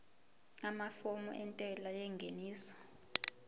amafomu entela yengeniso